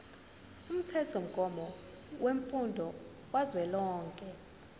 umthethomgomo wemfundo kazwelonke